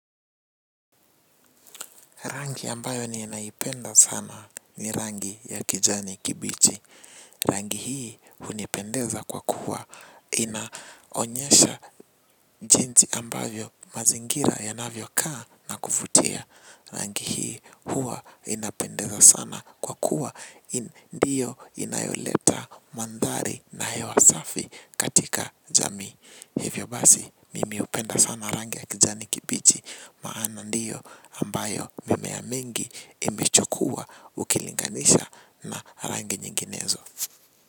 Rangi ambayo ninaipenda sana ni rangi ya kijani kibichi. Rangi hii hunipendeza kwa kuwa. Inaonyesha jinsi ambavyo mazingira yanavyo kaa na kuvutia. Rangi hii huwa inapendeza sana kwa kuwa. Ndiyo inayoleta mandhari na hewa safi katika jamii hivyo basi mimi hupenda sana rangi ya kijani kibichi. Maana ndiyo ambayo mimea mingi imechukuwa ukilinganisha na rangi nyinginezo.